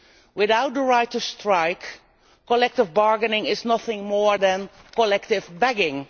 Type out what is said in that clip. Without the right to strike, collective bargaining is nothing more than collective begging.